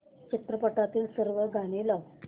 चित्रपटातील सर्व गाणी लाव